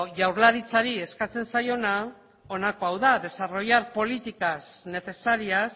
jaurlaritzari eskatzen zaiona honako hau da desarrollar políticas necesarias